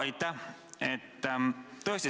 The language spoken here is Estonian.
Aitäh!